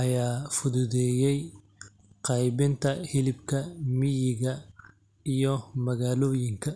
ayaa fududeeyay qaybinta hilibka miyiga iyo magaalooyinka.